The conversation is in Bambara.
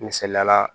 Misaliyala